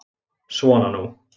Svona nú.